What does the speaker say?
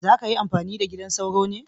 Za ka yi amfani da gidan sauro ne?